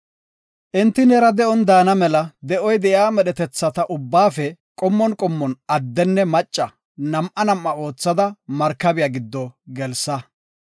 Enti neera de7on daana mela, de7oy de7iya medhetetha ubbaafe qommon qommon addenne macca nam7a nam7a oothada, markabiya giddo gelsa.